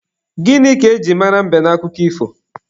Gịnị ka e jiri mara mbe n'akụkọ ifo?